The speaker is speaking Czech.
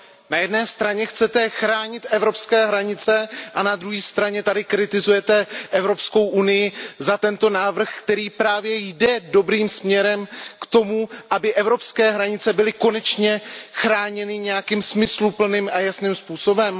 Na jedné straně chcete chránit evropské hranice a na druhé straně tady kritizujete Evropskou unii za tento návrh, který právě jde dobrým směrem k tomu, aby evropské hranice byly konečně chráněny nějakým smysluplným a jasným způsobem.